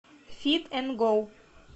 фит эн гоу